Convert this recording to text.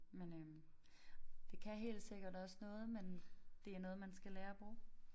Men øh det kan helt sikkert også noget men det er noget man skal lære at bruge